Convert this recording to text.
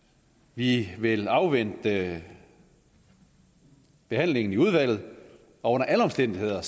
vi vil afvente behandlingen i udvalget og under alle omstændigheder